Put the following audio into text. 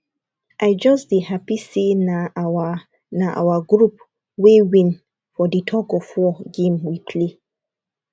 i just dey happy say na our na our group wey win for the tug of war game we play